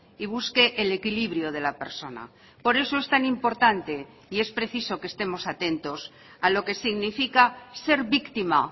y busque el equilibrio de la persona por eso es tan importante y es preciso que estemos atentos a lo que significa ser víctima